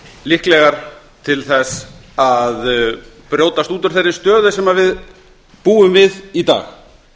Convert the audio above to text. líklegar til þess að brjótast út úr þeirri stöðu sem við búum við í dag